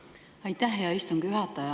Aitäh, hea istungi juhataja!